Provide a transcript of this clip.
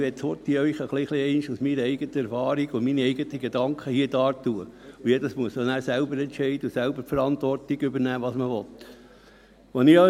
Ich möchte Ihnen hier kurz ein bisschen meine eigene Erfahrung und meine eigenen Gedanken darlegen, und dann müssen alle selber entscheiden und selber die Verantwortung übernehmen, was man will.